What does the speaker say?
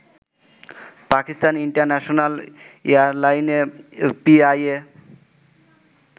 Pakistan international এয়ারলাইনে PIA